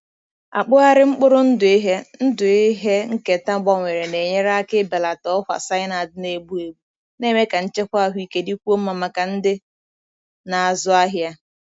Akpụgharị mkpụrụ ndụ ihe ndụ ihe nketa gbanwere na-enyere aka ibelata ọkwa cyanide na-egbu egbu, na-eme ka nchekwa ahụike dịkwuo mma maka ndị na-azụ ahịa.